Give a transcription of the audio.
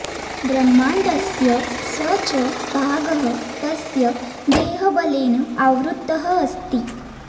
ब्रह्माण्डस्य स च भागः तस्य देहबलेन आवृत्तः अस्ति